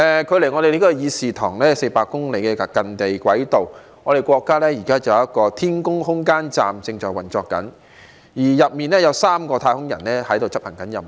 距離我們這個議事堂400公里外的近地軌道，國家現在就有一間天宮空間站正在運作，內裏有3個太空人正在執行任務。